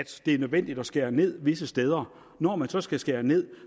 det er nødvendigt at skære ned visse steder når man så skal skære ned